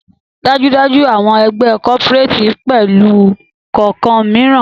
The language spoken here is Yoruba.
Dájúdájú! awọn egbe cooperates pẹlu kọọkan miiran